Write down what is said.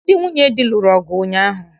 Ndị nwunye di lụrụ ọgụ ụnyaahụ